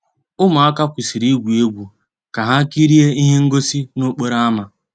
Ụmụ́àká kwụ́sị́rí ìgwú égwu ká há kìríé íhé ngósì n'òkpòró ámá.